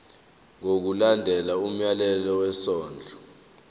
ngokulandela umyalelo wesondlo